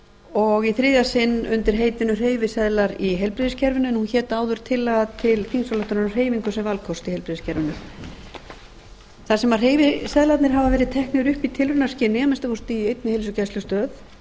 og í þriðja sinn undir heitinu hreyfiseðlar í heilbrigðiskerfinu en hún hét áður tillaga til þingsályktunar um hreyfingu sem valkost í heilbrigðiskerfinu þar sem hreyfiseðlar hafa verið teknir upp í tilraunaskyni að minnsta kosti í einni heilsugæslustöð